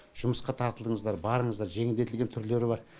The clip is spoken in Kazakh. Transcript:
жұмысқа тартылыңыздар барыңыздар жеңілдетілген түрлері бар